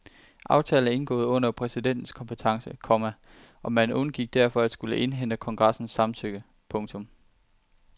Aftalen er indgået under præsidentens kompetence, komma og man undgik derfor at skulle indhente kongressens samtykke. punktum